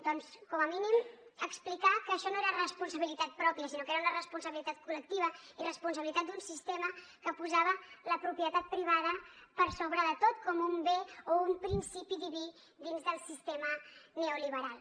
doncs com a mínim explicar que això no era responsabilitat pròpia sinó que era una responsabilitat col·lectiva i responsabilitat d’un sistema que posava la propietat privada per sobre de tot com un bé o un principi diví dins del sistema neoliberal